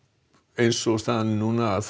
eins og staðan er núna